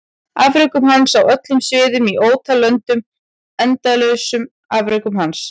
Afrekum hans á öllum sviðum í ótal löndum endalausum afrekum hans?